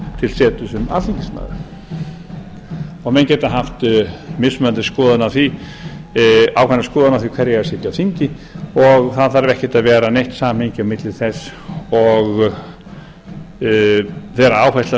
til setu sem alþingismaður menn geta haft mismunandi skoðanir á því hverjir eigi að sitja á þingi og það þarf ekki að vera neitt samræmi á milli þess og þeirri áherslu